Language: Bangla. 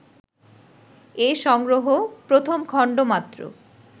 এ সংগ্রহ প্রথম খণ্ড মাত্র